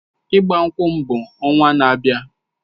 Ịgbankwu m bụ ọnwa na-abịa.